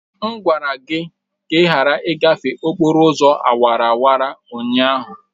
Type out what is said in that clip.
M gwara gị ka ị ghara ịgafe okporo ụzọ awara awara ụnyaahụ!